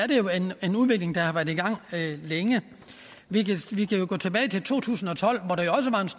en udvikling der har været i gang længe vi kan jo gå tilbage til to tusind og tolv